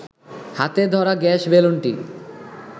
হাতে ধরা গ্যাস বেলুনটি